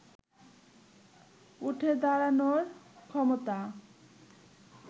উঠে দাঁড়ানোর ক্ষমতা